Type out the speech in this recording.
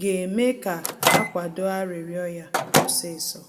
ga-eme ka akwado arịrịọ ya osisọ